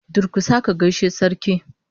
Durkusa ka gaishe da Sarki!